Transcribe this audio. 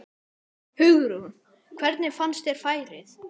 Hugrún: Hvernig finnst þér færið?